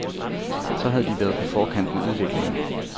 Så havde de været på forkant med udviklingen.